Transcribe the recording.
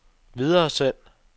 videresend